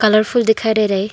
Colourful दिखाई दे रहा है।